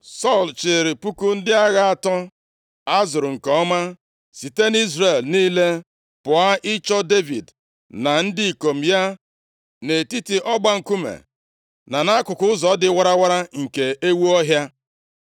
Sọl chịịrị puku ndị agha atọ a zụrụ nke ọma site nʼIzrel niile, pụọ ịchọ Devid na ndị ikom ya nʼetiti ọgba nkume, na nʼakụkụ ụzọ dị warawara nke Ewu Ọhịa.